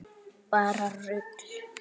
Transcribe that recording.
Bara rugl.